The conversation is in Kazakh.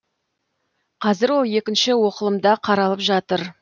қазір ол екінші оқылымда қаралып жатыр